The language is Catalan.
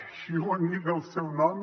així ho indica el seu nom